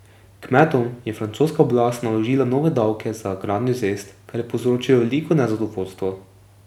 Kmetom je francoska oblast naložila nove davke za gradnjo cest, kar je povzročilo veliko nezadovoljstvo.